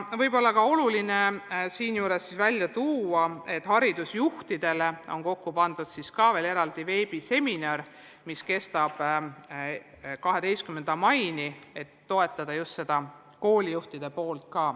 Võib-olla on oluline välja tuua ka see, et haridusjuhtidele on koostatud eraldi veebiseminar, mis kestab 12. maini, et toetada just koolijuhte.